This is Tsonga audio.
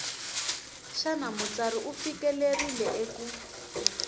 xana mutsari u fikelerile eku